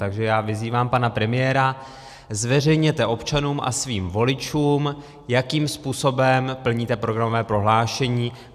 Takže já vyzývám pana premiéra: Zveřejněte občanům a svým voličům, jakým způsobem plníte programové prohlášení.